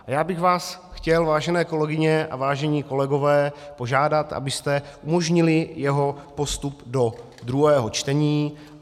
Já bych vás chtěl, vážené kolegyně a vážení kolegové, požádat, abyste umožnili jeho postup do druhého čtení.